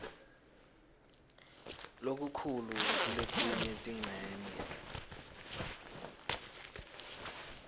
lokukhulu kuletinye tincenye